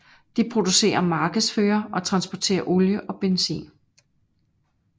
De producerer markedsfører og transporterer olie og benzin